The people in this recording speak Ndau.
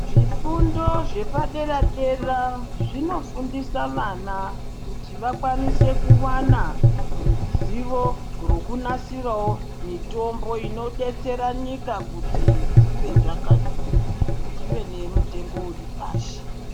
Zvifundo zvepadera dera zvinofundisa vana kuti vakwanise kuwana ruzivo rokunasirawo mitombo inodetsera nyika dzive nemutengo uripashi.